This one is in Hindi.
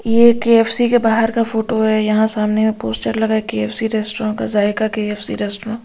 ये के_एफ_सी के बाहर का फोटो है यहां सामने में पोस्टर लगा है के_एफ_सी रेस्टोरेंट का ज़ाइका के_एफ_सी रेस्टुरेंट ।